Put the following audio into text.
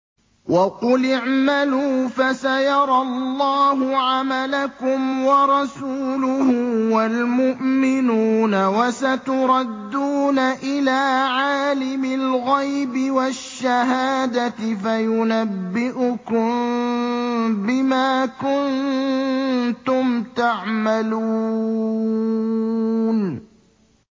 وَقُلِ اعْمَلُوا فَسَيَرَى اللَّهُ عَمَلَكُمْ وَرَسُولُهُ وَالْمُؤْمِنُونَ ۖ وَسَتُرَدُّونَ إِلَىٰ عَالِمِ الْغَيْبِ وَالشَّهَادَةِ فَيُنَبِّئُكُم بِمَا كُنتُمْ تَعْمَلُونَ